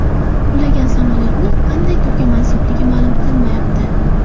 Qulagan samolyotning qanday turga mansubligi ma’lum qilinmayapti.